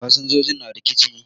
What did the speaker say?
Fasinjoji na da rikici